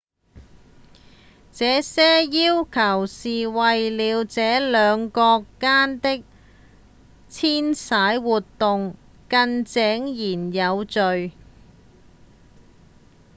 這些要求是為了讓兩國間的遷徙活動更井然有序